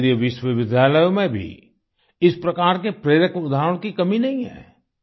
केन्द्रीय विश्वविद्यालयों में भी इस प्रकार के प्रेरक उदाहरणों की कमी नहीं है